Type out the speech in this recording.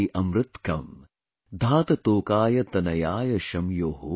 amritkam dhaat tokay tanayaaya shyamyo |